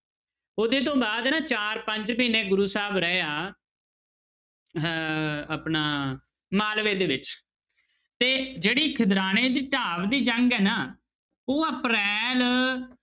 ਉਹਦੇ ਤੋਂ ਬਾਅਦ ਨਾ ਚਾਰ ਪੰਜ ਮਹੀਨੇ ਗੁਰੂ ਸਾਹਿਬ ਰਹੇ ਆ ਅਹ ਆਪਣਾ ਮਾਲਵੇ ਦੇ ਵਿੱਚ ਤੇ ਜਿਹੜੀ ਖਿਦਰਾਣੇ ਦੀ ਢਾਬ ਦੀ ਜੰਗ ਹੈ ਨਾ ਉਹ ਅਪ੍ਰੈਲ